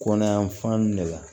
Kɔnɔ yan fan de la